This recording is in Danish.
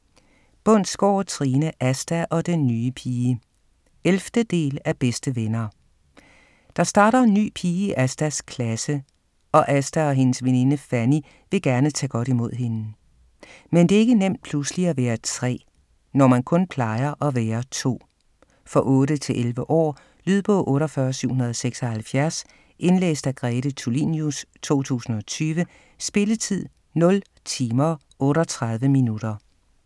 Bundsgaard, Trine: Asta og den nye pige 11. del af Bedste venner. Der starter en ny pige i Astas klasse, og Asta og hendes veninde Fanny vil gerne tage godt imod hende. Men det er ikke nemt pludselig at være tre, når man kun plejer at være to. For 8-11 år. Lydbog 48776 Indlæst af Grete Tulinius, 2020. Spilletid: 0 timer, 38 minutter.